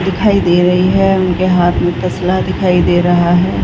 दिखाई दे रही है उनके हाथ में तसला दिखाई दे रहा है।